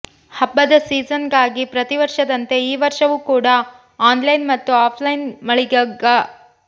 ಹಬ್ಬದ ಸೀಸನ್ ಗಾಗಿ ಪ್ರತಿ ವರ್ಷದಂತೆ ಈ ವರ್ಷವೂ ಕೂಡ ಆನ್ ಲೈನ್ ಮತ್ತು ಆಫ್ ಲೈನ್ ಮಳಿಗೆಗ